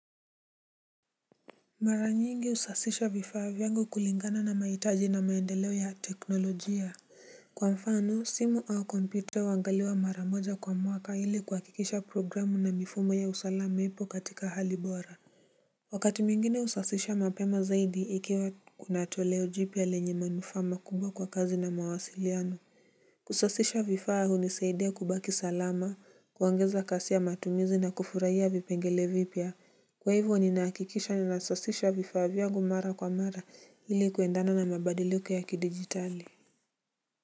Mara nyingi husasisha vifaa vyangu kulingana na maitaji na maendeleo ya teknolojia. Kwa mfano simu au kompyuta huangaliwa mara moja kwa mwaka ili kuhakikisha programu na mifumo ya usalama ipo katika hali bora. Wakati mwingine husasisha mapema zaidi ikiwa kuna toleo jipya lenye manufaa makubwa kwa kazi na mawasiliano. Kusasisha vifaa hunisaidia kubaki salama, kuongeza kasi ya matumizi na kufurahia vipengele vipya. Kwa hivyo ninahakikisha ninasasisha vifaa vyangu mara kwa mara hili kuendana na mabadiliko ya kidigitali.